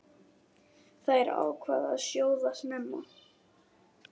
Þær ákváðu að sjóða snemma.